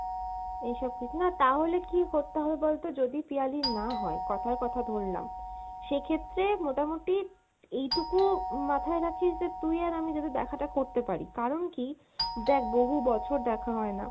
এসব কিছুই, না তাহলে কী করতে হবে বলতো যদি পিয়ালির না হয়, কথার কথা ধরলাম সেক্ষেত্রে মোটামুটি এইটুকু মাথায় রাখিস যে তুই আর আমি যদি দেখা টা করতে পারি, কারন কী দেখ বহু বছর দেখা হয়না